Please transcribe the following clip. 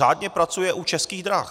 Řádně pracuje u Českých drah.